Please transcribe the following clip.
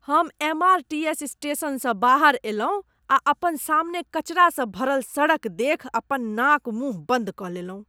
हम M. R. T. S. स्टेशनसँ बाहर अयलहुँ आ अपन सामने कचरासँ भरल सड़क देखि अपन नाक मुँह बन्द कऽ लेलहुँ।